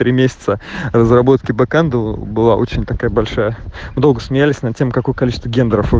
три месяца разработки бэкон было очень такая большая долго смеялись на тему какое количество гендоров